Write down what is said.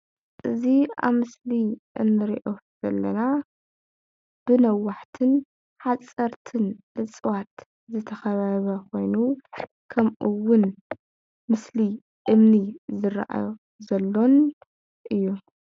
እዚ ኣብ ምስሊ እንሪኦ ዘለና ብነዋሕትን ሓፀርትን እፅ ዋት ዝተከበበ ኮይኑ ከምኡ እውን ምስሊ እምኒ ዝራኣዮ ዘሎን እዩ ፡፡